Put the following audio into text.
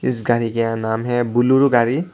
इस गाड़ी का नाम है बुलरो गाड़ी।